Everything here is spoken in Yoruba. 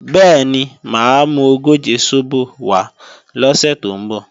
Bẹ́ẹ̀ni, mà á mú ogóje sóbò wá lọ́sè tó ń bọ̀